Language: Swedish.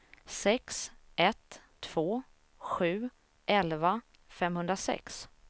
sex ett två sju elva femhundrasex